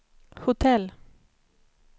hotell